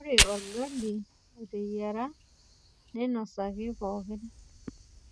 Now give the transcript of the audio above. Ore olgali oteyiara neinosaki pookin.